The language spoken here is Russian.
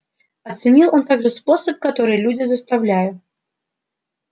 оценил он также способ который люди заставляю